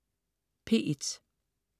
P1: